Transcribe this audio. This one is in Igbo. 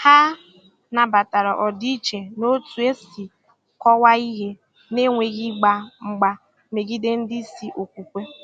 Hà nabatara ọdịiche n’otú e si kọwaa ihe, na-enweghị ịgba mgba megide ndị isi okwukwe.